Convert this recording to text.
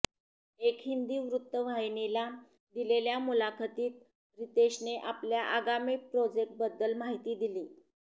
एका हिंदी वृत्तवाहिनीला दिलेल्या मुलाखतीत रितेशने आपल्या आगामी प्रोजेक्टबद्दल माहिती दिली